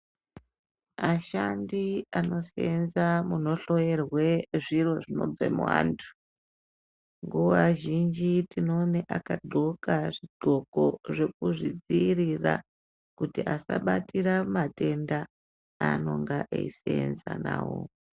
Ashandi ano senza muno hloyerwe zviro zvinobve mu antu nguva zhinji tino one aka ndxoka zvi ndxoko zve kuzvi dziirira kuti asa batira matenda anonga eyi senza nawo.